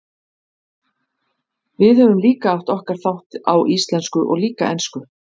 Og við höfum líka okkar þátt, á íslensku og líka ensku.